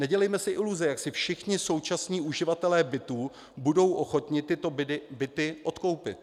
Nedělejme si iluze, jak si všichni současní uživatelé bytů budou ochotni tyto byty odkoupit.